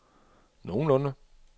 nogenlunde